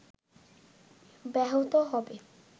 ব্যাহত হবে